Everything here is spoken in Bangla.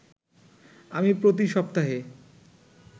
আমি প্রতি সপ্তাহে